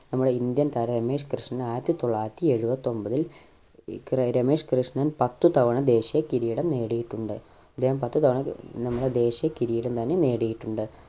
നമ്മടെ indian താരം രമേശ് കൃഷ്ണൻ ആയിരത്തി തൊള്ളായിരത്തി എഴുപത്തി ഒൻപതിൽ ഏർ രമേശ് കൃഷ്ണൻ പത്ത് തവണ ദേശീയ കിരീടം നേടിയിട്ടുണ്ട് ഇദ്ദേഹം പത്ത് തവണ ഏർ നമ്മളെ ദേശീയ കിരീടം തന്നെ നേടിയിട്ടുണ്ട്